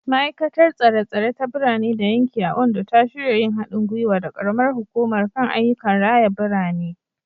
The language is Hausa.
Ma’aikatar Tsare-tsare ta Birane da Yanki a Ondo ta shirya yin hadin gwiwa da karamar hukumar kan ayyukan raya birane.